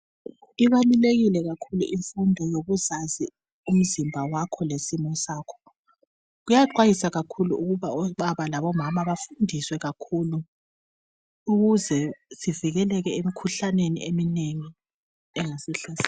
Ibalulekile kakhulu imfundo yokuzazi umzimba wakho lesimo sakho. Kuyaxwayiswa kakhulu ukuba obaba labomama bafundiswe kakhulu ukuze sivikeleke emikhuhlaneni eminengi engasihlasela.